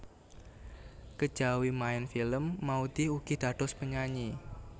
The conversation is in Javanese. Kejawi maèn film Maudy ugi dados penyanyi